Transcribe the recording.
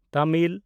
Tamil